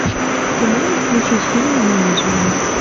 ты можешь включить фильм менеджмент